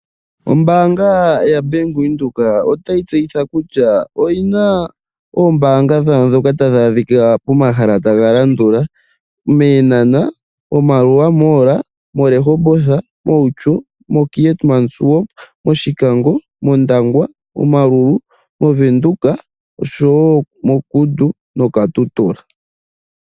Ombaanga yaWindhoek otayi tseyitha kutya oyina iitayi yawo mbyoka tayi adhika pomahala tagalandula, mEentanta, Maerua Mall, moRehoboth, Outjo, Keetmanshoop, Oshikango, mOndangwa, Omaruru, Windhoek osho wo moKudu noKatutura.